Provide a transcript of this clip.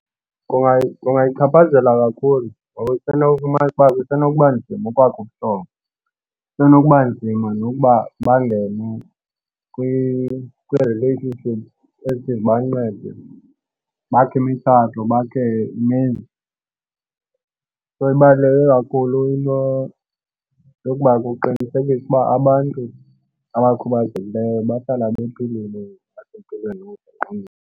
Kungayichaphazela kakhulu ngoba kusenokufumana uba kusenokuba nzima ukwakha ubuhlobo. Kusenokuba nzima nokuba bangene kwi-relationship ezithi zibancede bakhe imitshato, bakhe imizi. So ibaluleke kakhulu into yokuba kuqinisekiswe uba abantu abakhubazekileyo bahlala bephilile aphe empilweni .